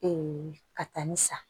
ka taa ni sa